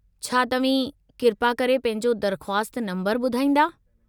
छा तव्हीं किरपा करे पंहिंजो दरख़्वास्त नंबरु ॿुधाईंदा?